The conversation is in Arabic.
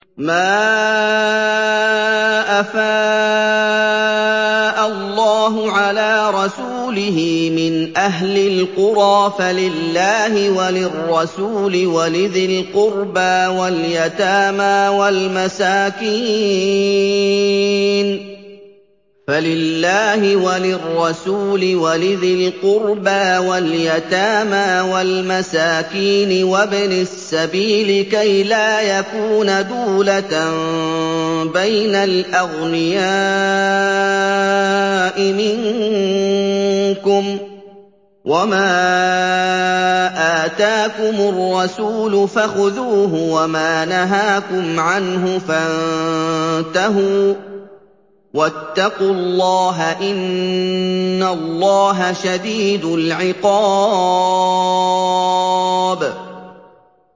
مَّا أَفَاءَ اللَّهُ عَلَىٰ رَسُولِهِ مِنْ أَهْلِ الْقُرَىٰ فَلِلَّهِ وَلِلرَّسُولِ وَلِذِي الْقُرْبَىٰ وَالْيَتَامَىٰ وَالْمَسَاكِينِ وَابْنِ السَّبِيلِ كَيْ لَا يَكُونَ دُولَةً بَيْنَ الْأَغْنِيَاءِ مِنكُمْ ۚ وَمَا آتَاكُمُ الرَّسُولُ فَخُذُوهُ وَمَا نَهَاكُمْ عَنْهُ فَانتَهُوا ۚ وَاتَّقُوا اللَّهَ ۖ إِنَّ اللَّهَ شَدِيدُ الْعِقَابِ